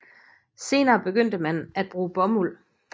Senere begyndte man at bruge bomuld